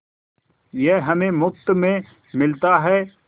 यह हमें मुफ्त में मिलता है